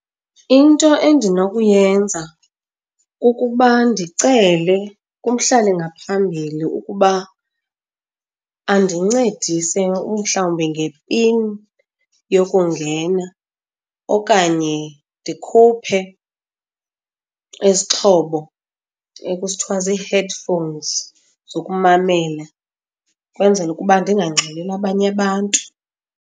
Into endinokuyenza kukuba ndicele kumhlali ngaphambili ukuba andincedise umhlawumbi ngepini yokungena, okanye ndikhuphe isixhobo ekuthiwa zii-headphones zokumamela kwenzele ukuba ndingangxoleli abanye abantu.